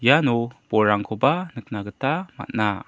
iano bolrangkoba nikna gita man·a.